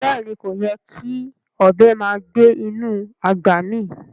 Beeni, koyè́ kí ọbẹ màá gbẹ̀ inú agbá mí